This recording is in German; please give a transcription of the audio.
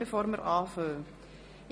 Guten Morgen allerseits.